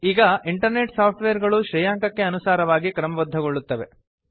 ಈಗ internet software ಗಳು ಶ್ರೇಯಾಂಕಕ್ಕೆ ಅನುಸಾರವಾಗಿ ಕ್ರಮಬದ್ದಗೊಳ್ಳುತ್ತವೆ